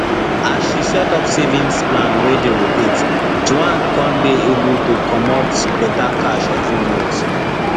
as she set up savings plan wey dey rotate juan con dey able to comot better cash every month